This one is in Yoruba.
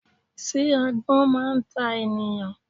Sé agbón máa n ta ènìyàn